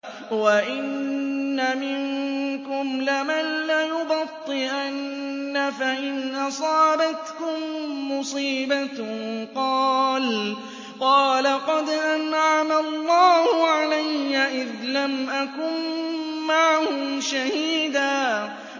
وَإِنَّ مِنكُمْ لَمَن لَّيُبَطِّئَنَّ فَإِنْ أَصَابَتْكُم مُّصِيبَةٌ قَالَ قَدْ أَنْعَمَ اللَّهُ عَلَيَّ إِذْ لَمْ أَكُن مَّعَهُمْ شَهِيدًا